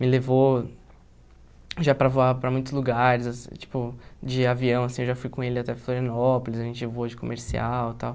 Me levou já para voar para muitos lugares, tipo, de avião, assim, eu já fui com ele até Florianópolis, a gente voou de comercial e tal.